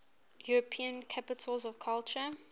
european capitals of culture